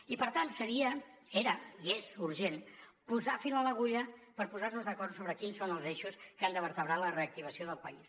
i per tant seria era i és urgent posar fil a l’agulla per posar nos d’acord sobre quins són els eixos que han de vertebrar la reactivació del país